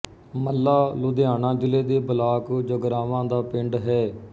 ਮੱਲਾ ਲੁਧਿਆਣਾ ਜ਼ਿਲੇ ਦੇ ਬਲਾਕ ਜਗਰਾਵਾਂ ਦਾ ਪਿੰਡ ਹੈ